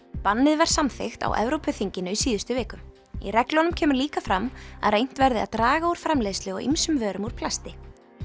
bannið var samþykkt á Evrópuþinginu í síðustu viku í reglunum kemur líka fram að reynt verði að draga úr framleiðslu á ýmsum vörum úr plasti